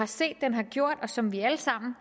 set at den har gjort og som vi alle sammen